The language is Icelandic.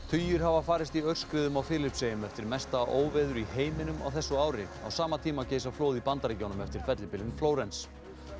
tugir hafa farist í aurskriðum á Filippseyjum eftir mesta óveður í heiminum á þessu ári á sama tíma geisa flóð í Bandaríkjunum eftir fellibylinn Flórens